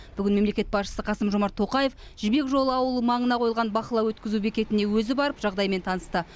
бүгін мемлекет басшысы қасым жомарт тоқаев жібек жолы ауылы маңына қойылған бақылау өткізу бекетіне өзі барып жағдаймен танысты